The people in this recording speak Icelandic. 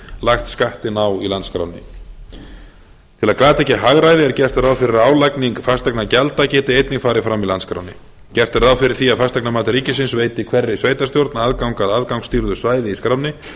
lagt skattinn á í landskránni til að glata ekki hagræði er gert ráð fyrir að álagning fasteignagjalda geti einnig farið fram í landskránni gert er ráð fyrir því að fasteignamat ríkisins veiti hverri sveitarstjórn aðgang að aðgangsstýrðu svæði í skránni